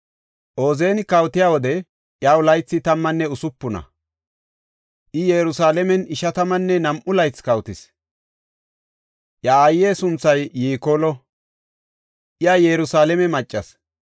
Ooziyani kawotiya wode iyaw laythi tammanne usupuna; I Yerusalaamen ishatammanne nam7u laythi kawotis. Iya aaye sunthay Yikoolo; iya Yerusalaame maccas.